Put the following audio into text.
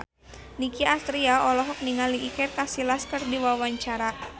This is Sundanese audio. Nicky Astria olohok ningali Iker Casillas keur diwawancara